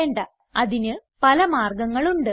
വേണ്ട അതിന് പല മാർഗങ്ങൾ ഉണ്ട്